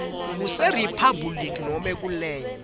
kuseriphabhuliki nobe kulenye